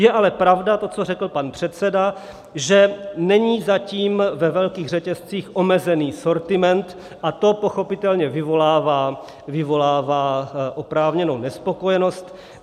Je ale pravda to, co řekl pan předseda, že není zatím ve velkých řetězcích omezený sortiment, a to pochopitelně vyvolává oprávněnou nespokojenost.